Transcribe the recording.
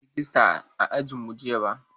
A'a, ba a kira rejista a ajinmu jiya ba.